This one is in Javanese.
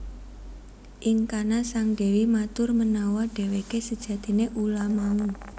Ing kana sang dewi matur menawa dheweke sejatine ula mau